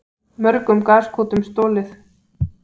Mörgum gaskútum stolið